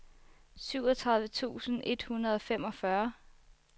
syvogtredive tusind et hundrede og femogfyrre